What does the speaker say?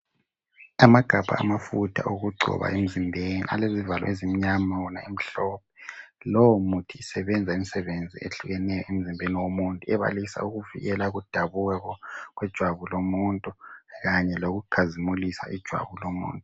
Amagabha amafutha okugcoba emzimbeni alezivalo ezimnyama, wona emhlophe. Lowo muthi isebenza imisebenzi ehlukeneyo emzimbeni womuntu ebalisa ukuvikela ukudabuka kwejabu lomuntu kanye lokukazimulisa ijwabu lomuntu.